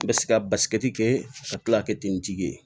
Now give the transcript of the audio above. N bɛ se ka kɛ ka tila ka kɛ ten n jigi ye